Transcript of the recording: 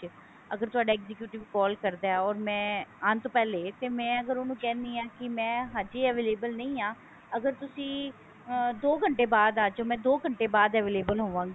ਅਗਰ ਤੁਹਾਡਾ executive call ਕਰਦਾ or ਆਉਣ ਤੋਂ ਪਹਿਲੇ ਤੇ ਮੈਂ ਅਗਰ ਉਹਨੂੰ ਕਹਿੰਦੀ ਹਾਂ ਕੀ ਮੈਂ ਹਜੇ available ਨਹੀਂ ਹਾਂ ਅਗਰ ਤੁਸੀਂ ਅਹ ਦੋ ਘੰਟੇ ਬਾਅਦ ਆ ਜਾਓ ਮੈਂ ਦੋ ਘੰਟੇ ਬਾਅਦ available ਹੋਵਾਂਗੀ